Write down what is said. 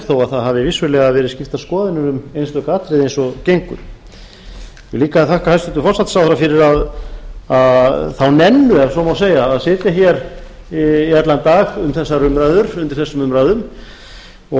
þó það hafi vissulega verið skiptar skoðanir um einstök atriði eins og gengur ég vil líka þakka hæstvirtum forsætisráðherra fyrir þá nennu ef svo má segja að sitja hér í allan dag undir þessum umræðum og er nú